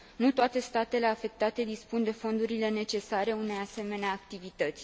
Nu toate statele afectate dispun de fondurile necesare unei asemenea activități.